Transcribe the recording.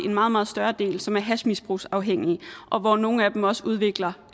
meget meget større del som er hashmisbrugsafhængige og hvor nogle af dem også udvikler